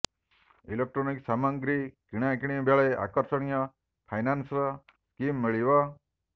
electronics ସାମଗ୍ରୀ କିଣାକିଣି ବେଳେ ଆକର୍ଷଣୀୟ ଫାଇନାନ୍ସ ସ୍କିମ୍ ମିଳିବ